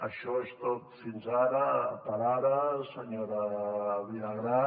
això és tot fins ara per ara senyora vilagrà